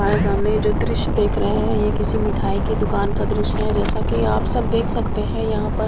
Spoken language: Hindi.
हमारे सामने जो दृश्य देख रहे हैं ये किसी मिठाई की दुकान का दृश्य जैसा कि आप सब देख सकते हैं यहां पर--